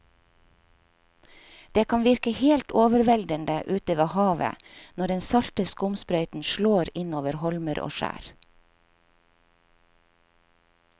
Det kan virke helt overveldende ute ved havet når den salte skumsprøyten slår innover holmer og skjær.